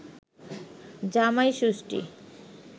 জামাই ষষ্ঠী